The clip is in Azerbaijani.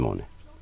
Yox, bilmədim onu.